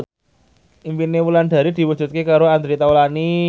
impine Wulandari diwujudke karo Andre Taulany